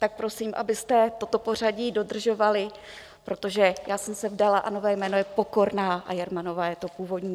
Tak prosím, abyste toto pořadí dodržovali, protože já jsem se vdala a nové jméno je Pokorná a Jermanová je to původní.